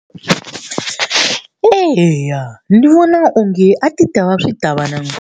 Eya ni vona onge a ti ta va swi ta va na .